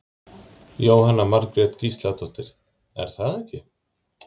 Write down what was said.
Jóhanna Margrét Gísladóttir: Er það ekki?